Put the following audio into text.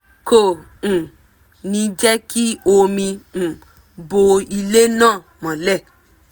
kò um ní jẹ́ kí omi um bo ilẹ̀ náà mọ́lẹ̀